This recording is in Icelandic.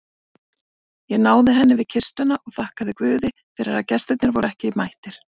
Ég náði henni við kistuna og þakkaði guði fyrir að gestirnir voru ekki mættir.